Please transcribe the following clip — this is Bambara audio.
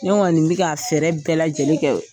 Ne kɔnni bɛ ka fɛɛrɛ bɛɛ lajɛlen kɛ